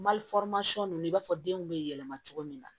Mali ninnu i b'a fɔ denw bɛ yɛlɛma cogo min na